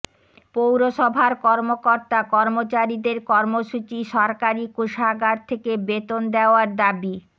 পৌরসভার কর্মকর্তা কর্মচারীদের কর্মসূচি সরকারি কোষাগার থেকে বেতন দেওয়ার দাবি